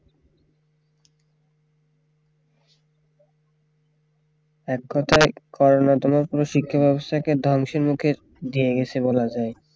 এক কথায় করোনা তোমার পুরো শিক্ষা ব্যবস্থাকে ধ্বংসের মুখে দিয়ে গেছে বলা যায়